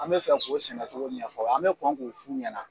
An bɛ fɛ k'a o sinɛcogo ɲɛfɔ an bɛ kɔn k'o f'u ɲɛna